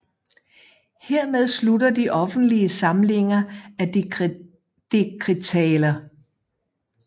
Hermed slutter de offentlige samlinger af dekretaler